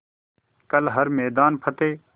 कर हर मैदान फ़तेह